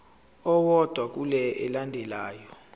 owodwa kule elandelayo